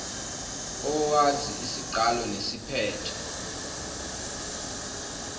owazi isiqalo nesiphetho